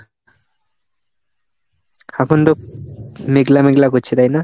এখন তো মেঘলা মেঘলা করছে. তাই না?